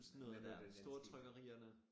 Sådan noget dér stortrykkerierne